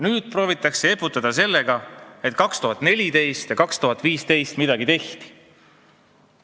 Nüüd proovitakse eputada sellega, et 2014 ja 2015 midagi tehti.